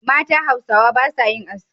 Mata Hausawa ba sa yin aski.